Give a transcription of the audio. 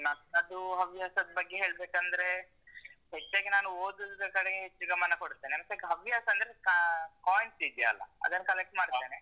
ನನ್ನದು ಹವ್ಯಾಸದ್ ಬಗ್ಗೆ ಹೇಳ್ಬೇಕಂದ್ರೆ, ಹೆಚ್ಚಾಗಿ ನಾನು ಓದುವುದರ ಕಡೆಗೆ ಹೆಚ್ಚು ಗಮನ ಕೊಡ್ತೇನೆ ಸಧ್ಯಕ್ ಹವ್ಯಾಸ ಅಂದ್ರೆ ಆ coins ಇದ್ಯಲ್ಲ ಅದನ್ collect ಮಾಡ್ತೇನೆ.